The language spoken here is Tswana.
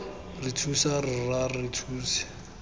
re thuse rra re thuse